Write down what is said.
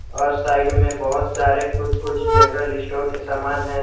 और साइड में बहोत सारे कुछ कुछ जनरल स्टोर के समान है।